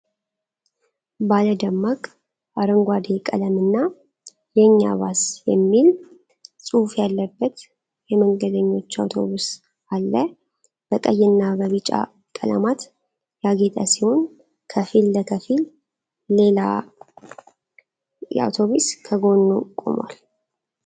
ባለ ደማቅ አረንጓዴ ቀለምና "የኛ ባስ" የሚል ጽሑፍ ያለበት የመንገደኞች አውቶቡስ አለ። በቀይና በቢጫ ቀለማት ያጌጠ ሲሆን፣ ከፊል ለከፊል ሌላ አውቶቡስ ከጎኑ ቆሟል።